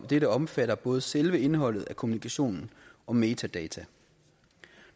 dette omfatter både selve indholdet af kommunikationen og metadata